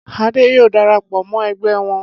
Adé yóò dara pọ̀ mọ́ ẹgbẹ́ wọn.